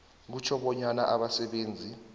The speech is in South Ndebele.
kutjho bonyana abasebenzi